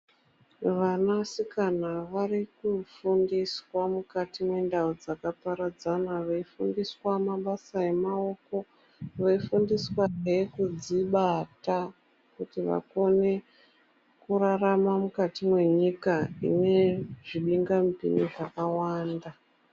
Vanasikana vari kufundiswa mukati mwendau dzaka paradzana, veifundiswa mabasa emaoko, veifundiswa nekudzibata kuti vakone kurarama mwukati mwenyika ine zvibinga mupinyi zvakawanda.